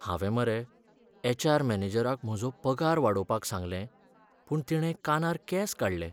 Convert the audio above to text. हांवें मरे एच.आर. मॅनेजराक म्हजो पगार वाडोवपाक सांगलें पूण तिणें कानार केंस काडलें.